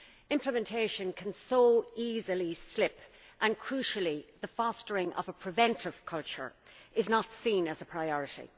Implementation can so easily slip and, crucially, the fostering of a preventive culture is not seen as a priority.